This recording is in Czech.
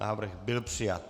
Návrh byl přijat.